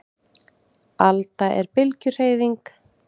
Alda er bylgjuhreyfing.